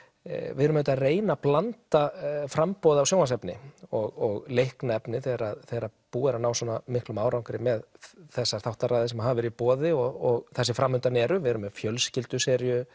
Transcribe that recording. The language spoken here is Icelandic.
við erum auðvitað að reyna að blanda framboði af sjónvarpsefni og leiknu efni þegar þegar búið er að ná svona miklum árangri með þessar þáttaraðir sem hafa verið í boði og þær sem fram undan eru við erum með fjölskylduseríu